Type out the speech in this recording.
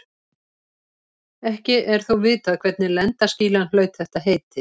Ekki er þó vitað hvernig lendaskýlan hlaut þetta heiti.